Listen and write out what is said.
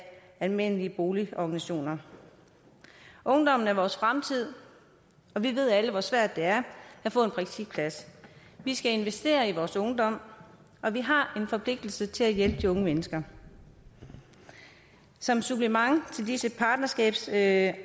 almene boligorganisationer ungdommen er vores fremtid og vi ved alle hvor svært det er at få en praktikplads vi skal investere i vores ungdom og vi har en forpligtelse til at hjælpe de unge mennesker som supplement til disse partnerskabsaftaler